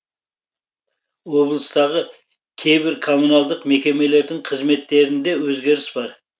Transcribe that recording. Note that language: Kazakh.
облыстағы кейбір коммуналдық мекемелердің қызметтерінде өзгеріс бар